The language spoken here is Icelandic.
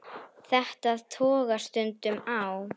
Þetta togast stundum á.